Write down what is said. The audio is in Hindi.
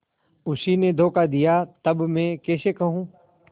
उसी ने धोखा दिया तब मैं कैसे कहूँ